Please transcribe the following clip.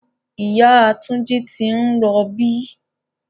Ìyá Túnjí ti ń rọbí